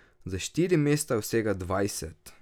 Za štiri mesta vsega dvajset.